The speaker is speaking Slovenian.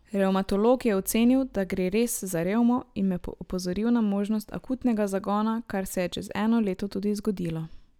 Revmatolog je ocenil, da gre res za revmo, in me opozoril na možnost akutnega zagona, kar se je čez eno leto tudi zgodilo.